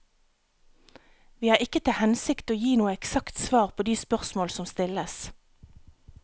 Vi har ikke til hensikt å gi noe eksakt svar på de spørsmål som stilles.